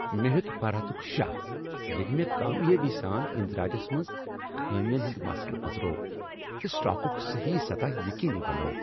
مےٚ ہیوٚت فرحتُک شَہہ ییٚلہِ مےٚ كامیٲبی سان اندراجس منز خٲمِین ہندِ مثلہٕ انزروو تہٕ سٹاکُک صحیح سطح یقینی بنوو ۔